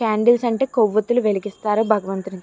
Candles అంటే కొవ్వొత్తులు వెలిగిస్తారు భగవంతునికి.